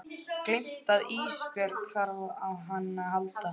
Gleymt að Ísbjörg þarf á henni að halda.